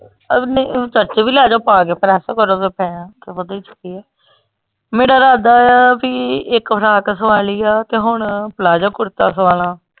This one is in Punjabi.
ਚਰਚ ਵੀ ਲੈਜੋ ਪਾ ਕੇ press ਕਰੋ ਤੇ ਇਹਦੇ ਚ ਕੀ ਆ, ਮੇਰੇ ਰਾਦਾ ਆ ਬੀ ਇਕ ਫਰਾਕ ਸਵਾਲੀ ਆ ਤੇ ਹੁਣ ਪਲਾਜ਼ੋ ਕੁੜਤਾ ਸਵਾਲਾਂ।